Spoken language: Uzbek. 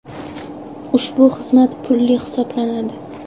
Ushbu xizmat pulli hisoblanadi.